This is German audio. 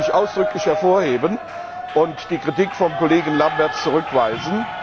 Das möchte ich ausdrücklich hervorheben und die Kritik des Kollegen Lamberts zurückweisen.